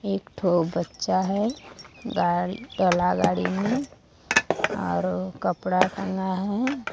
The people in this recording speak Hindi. एक थो बच्चा है गाड़ी टला गाड़ी में और कपड़ा टंगा है।